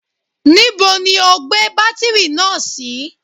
Níbo ni o gbé bátírì náà sí?